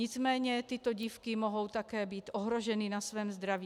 Nicméně tyto dívky mohou také být ohroženy na svém zdraví.